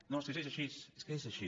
no és que és així és que és així